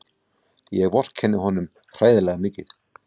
Ég vorkenni honum hræðilega mikið.